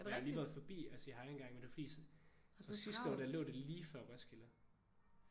Jeg har lige været forbi og sige hej en gang men det var fordi altså sidste år der lå det lige før Roskilde